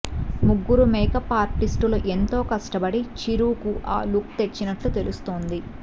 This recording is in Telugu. ముగ్గురు మేకప్ ఆర్టిస్టులు ఎంతో కష్టపడి చిరు కి ఆ లుక్ తెచ్చినట్లు తెలుస్తోంది